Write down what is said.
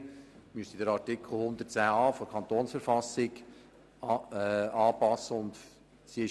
In der Folge müsste der Artikel 110a der Verfassung des Kantons Bern (KV) angepasst werden.